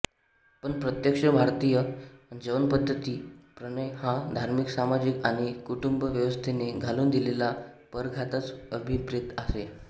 पण प्रत्यक्ष भारतीय जीवनपद्धतीत प्रणय हा धार्मिकसामाजिक आणि कुटुंबव्यवस्थेने घालून दिलेल्या परिघातच अभिप्रेत असे